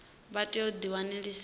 vha tea u ḓi ṅwalisa